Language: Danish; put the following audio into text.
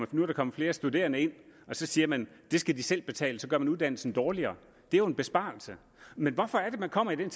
kan komme flere studerende ind og så siger man at det skal de selv betale så gør man uddannelsen dårligere det er jo en besparelse men hvorfor er det man kommer i den